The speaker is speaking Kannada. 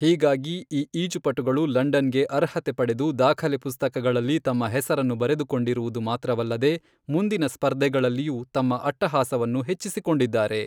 ಹೀಗಾಗಿ ಈ ಈಜುಪಟುಗಳು ಲಂಡನ್ಗೆ ಅರ್ಹತೆ ಪಡೆದು ದಾಖಲೆ ಪುಸ್ತಕಗಳಲ್ಲಿ ತಮ್ಮ ಹೆಸರನ್ನು ಬರೆದುಕೊಂಡಿರುವುದು ಮಾತ್ರವಲ್ಲದೆ, ಮುಂದಿನ ಸ್ಪರ್ಧೆಗಳಲ್ಲಿಯೂ ತಮ್ಮ ಅಟ್ಟಹಾಸವನ್ನು ಹೆಚ್ಚಿಸಿಕೊಂಡಿದ್ದಾರೆ.